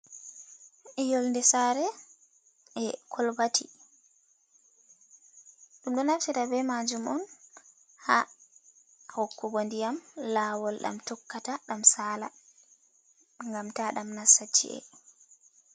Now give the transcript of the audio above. Yonde saare, e colbati, ɗum ɗo nafira be majuum on ha hokkugo ndiyam laawol, ɗam tokkata ɗam sala gam ta ɗam nasta ci’e.